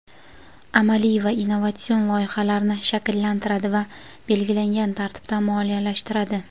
amaliy va innovatsion loyihalarni shakllantiradi va belgilangan tartibda moliyalashtiradi.